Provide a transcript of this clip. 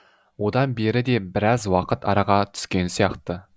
одан бері де біраз уақыт араға түскен сияқты